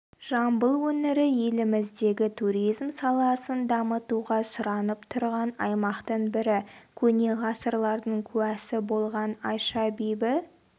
жамбыл өңірі еліміздегі туризм саласын дамытуға сұранып тұрған аймақтың бірі көне ғасырлардың куәсі болған айша бибі